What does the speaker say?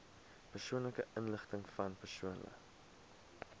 persoonlike inligtingvan persone